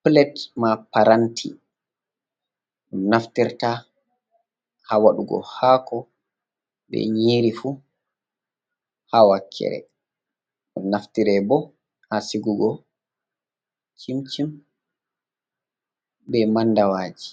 Pilet maa paranti ɗon naftira haa waɗugo haako be nyiiri fuh, haa wakkere ɗum naftirte feere bo haa sa`ugo cimcin be mandaɗwaji